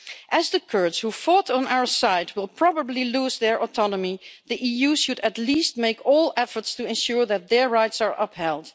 As the Kurds, who fought on our side, will probably lose their autonomy the EU should at least make all efforts to ensure that their rights are upheld.